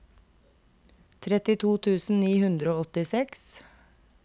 trettito tusen ni hundre og åttiseks